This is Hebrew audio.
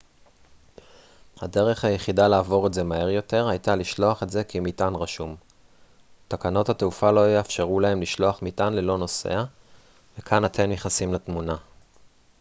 הדרך היחידה לעבור את זה מהר יותר הייתה לשלוח את זה כמטען רשום תקנות התעופה לא יאפשרו להם לשלוח מטען ללא נוסע וכאן אתם נכנסים לתמונה